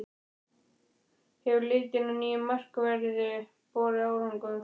Hefur leitin að nýjum markverði borið árangur?